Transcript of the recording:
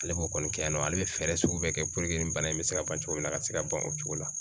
Ale b'o kɔni kɛ yan nɔ ale bɛ fɛɛrɛ sugu bɛɛ kɛ nin bana in bɛ se ka ban cogo min na a ka se ka ban o cogo la